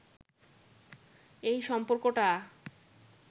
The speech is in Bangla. এই সম্পর্কটা